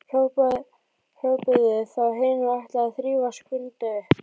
hrópuðu þá hin og ætluðu að þrífa Skunda upp.